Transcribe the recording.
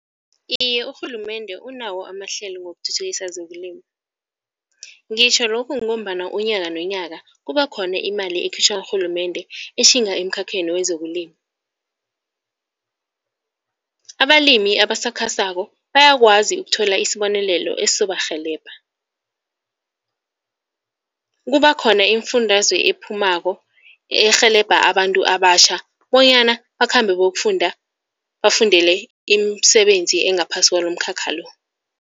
Iye urhulumende unawo amahlelo wokuthuthukisa zokulima. Ngitjho lokhu ngombana unyaka nonyaka kuba khona imali ekhitjhwa ngurhulumende etjhinga emkhakheni wezokulima. Abalimi abasakhasako bayakwazi ukuthola isibonelelo esizobarhelebha. Kuba khona iimfundaze ephumako erhelebha abantu abatjha bonyana bakhambe bokufunda bafundele imisebenzi engaphasi kwawolomkhakha lo.